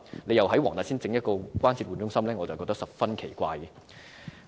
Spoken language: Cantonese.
如再在黃大仙設立關節置換中心，我認為十分奇怪。